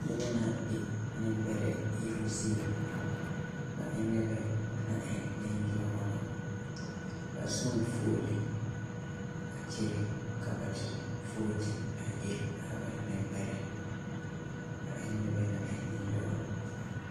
Noba ba la be nembɛrɛ iruŋ zie ba e la noba naŋ e yaga na ba zɔɔ la fuolii a kyɛnɛ a na de vooti a ire a ba nembɛrɛ ba e ne noba naŋ e nenyaga na